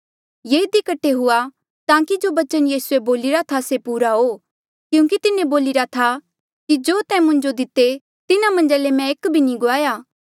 ऐें इधी कठे हुआ ताकि जो बचन यीसूए बोलिरा था से पूरा हो क्यूंकि तिन्हें बोलिरा था कि जो तैं मुंजो दिते तिन्हा मन्झा ले मैं एक भी नी गुआया